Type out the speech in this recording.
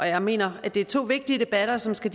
jeg mener at det er to vigtige debatter som skal